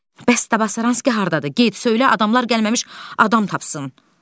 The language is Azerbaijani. Bəs Tabasaranski hardadır, get, söylə adamlar gəlməmiş adam tapsın.